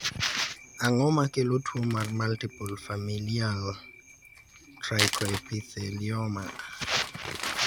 ang'o makelo tuo mar multiple familial trichoepithelioma